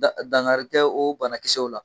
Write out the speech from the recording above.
Dan dangari kɛ o banakisɛw la.